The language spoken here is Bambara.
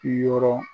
Yɔrɔ